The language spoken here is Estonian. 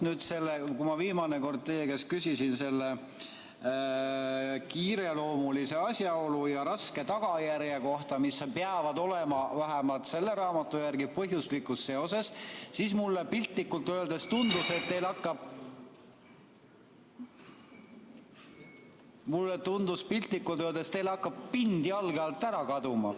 Vaat nüüd, kui ma viimane kord teie käest küsisin selle kiireloomulise asjaolu ja raske tagajärje kohta, mis peavad olema vähemalt selle raamatu järgi põhjuslikus seoses, siis mulle piltlikult öeldes tundus, et teil hakkab pind jalge alt ära kaduma.